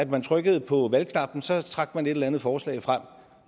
man trykkede på valgknappen og så trak man et eller andet forslag frem